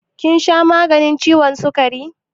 Kin sha maganin ciwon sukari?